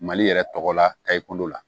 Mali yɛrɛ tɔgɔ la tayi kundo la